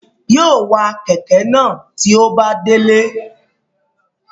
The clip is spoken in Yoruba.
Yóò wa kẹ̀kẹ́ náà tí ó bá délé